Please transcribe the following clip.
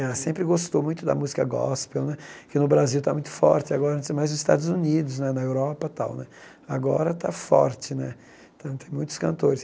Ela sempre gostou muito da música gospel né, que no Brasil está muito forte agora, mais nos Estados Unidos né, na Europa e tal né, agora está forte né, então tem muitos cantores.